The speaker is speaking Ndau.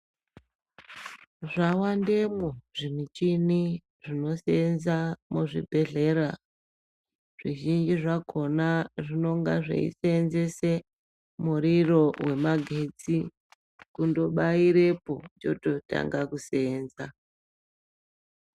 Zvawandemwo zvimichini zvinoshanda muzvibhedhleya zvizhinji zvakona zvinenga zveiseenzese muriro wemagetsi kundobairepo chototanga kuseenza.